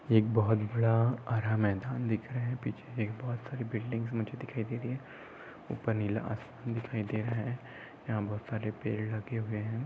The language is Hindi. एक बोहोत बड़ा हरा मैदान दिख रहा है पीछे एक बोहोत सारी बिल्डिंग्स मुझे दिखाई दे रही है ऊपर नीला आसमान दिखाई दे रहा है यहाँ बहुत सारे पेड़ लगे हुए है।